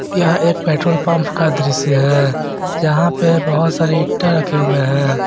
यह एक petrol pump का दृश्य है जहां पे बहुत सारे एटा रखे हुए हैं।